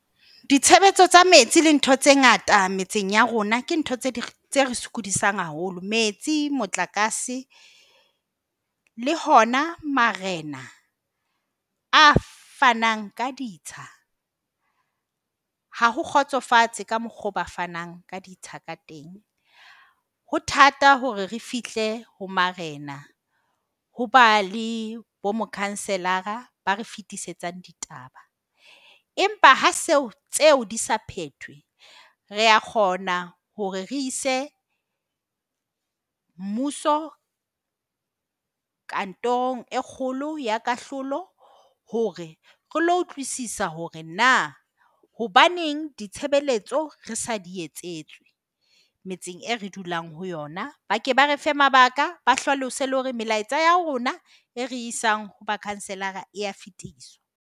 Ditshebetso tsa metsi le ntho tse ngata metseng ya rona ke ntho tse ding tse re sokodisang haholo. Metsi, motlakase le hona marena a fanang ka ditsha ha ho kgotsofatse ka mokgwa oo ba fanang ka ditsha ka teng. Ho thata hore re fihle ho marena, ho ba le bomokhanselara ba re fetisetsang ditaba. Empa ha seo tseo di sa phethwe, re a kgona hore re ise mmuso kantorong e kgolo ya kahlolo, hore re ilo utlwisisa hore na hobaneng ditshebeletso re sa di etsetswe metseng eo re dulang ho yona. Ba ke ba re fe mabaka, ba hlalose le hore melaetsa ya rona eo re e isang ho makhanselara e a fetiswa.